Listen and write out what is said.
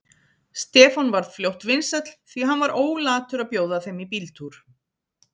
Stefán varð fljótt vinsæll, því hann var ólatur að bjóða þeim í bíltúr.